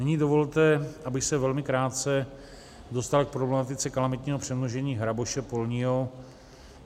Nyní dovolte, abych se velmi krátce dostal k problematice kalamitního přemnožení hraboše polního.